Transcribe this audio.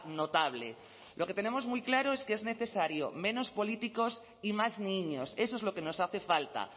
notable lo que tenemos muy claro es que es necesario menos políticos y más niños eso es lo que nos hace falta